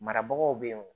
Marabagaw bɛ ye nɔ